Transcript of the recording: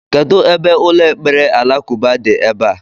Kedụ ebe ụlọ ekpere alakụba dị ebea?